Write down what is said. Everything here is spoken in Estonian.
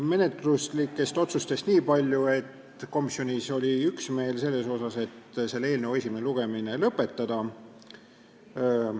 Menetluslikest otsustest niipalju, et komisjonis oli üksmeel selles, et selle eelnõu esimene lugemine tuleks lõpetada.